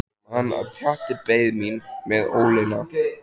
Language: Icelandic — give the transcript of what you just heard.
Ég man að Pjatti beið mín með ólina.